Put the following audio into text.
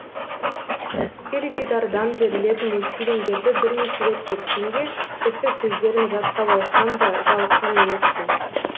теледидардан берілетін мультфильмдерді бірнеше рет көрсем де тіпті сөздерін жаттап алсам да жалыққан емеспін